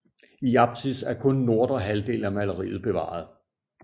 I apsis er kun nordre halvdel af maleriet bevaret